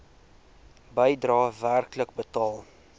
bedrae werklik betaal